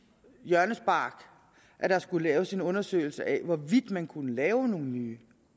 hjørnespark at der skulle laves en undersøgelse af hvorvidt man kunne lave nogle nye